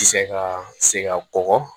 Ti se ka seg'a kɔkɔ